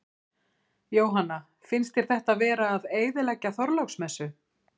Jóhanna: Finnst þér þetta vera að eyðileggja Þorláksmessu?